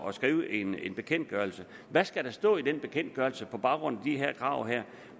at skrive en bekendtgørelse hvad skal der stå i den bekendtgørelse på baggrund af de her krav